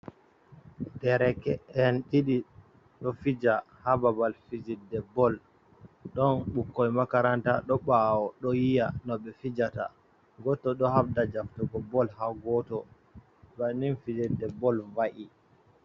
Ɗereke’en ɗiɗi do fija ha babal fijirde bol, ɗon bokkoi makaranta ɗo bawo do yiya no ɓe fijata. Goto ɗo habda jaftugo bol ha goto, banin fijirɗe bol va’i.